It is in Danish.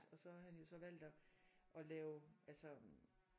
Og så har han jo så valgt at at lave altså